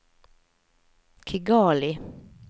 Kigali